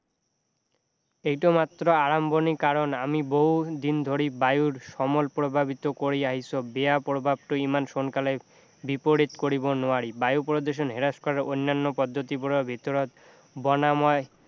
এইটো মাত্ৰ আৰম্ভনি কাৰণ আমি বহু দিন ধৰি বায়ুৰ সমল প্ৰভাৱিত কৰি আহিছোঁ বেয়া প্ৰভাৱটো ইমান সোনকালে বিপৰীত কৰিব নোৱাৰি বায়ু প্ৰদূষণ হ্ৰাস কৰাৰ অন্যান্য পদ্ধতিবোৰৰ ভিতৰত বনাময়